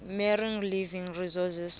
marine living resources